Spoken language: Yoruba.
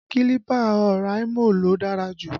Kílípà Oraimo ló dára jù